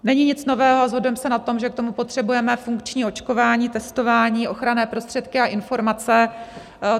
Není nic nového a shodujeme se na tom, že k tomu potřebujeme funkční očkování, testování, ochranné prostředky a informace.